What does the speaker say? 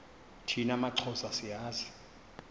thina maxhosa siyazi